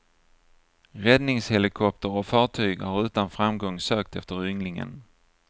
Räddningshelikopter och fartyg har utan framgång sökt efter ynglingen.